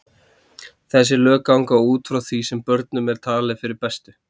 Þessi lög ganga út frá því sem börnum er talið fyrir bestu.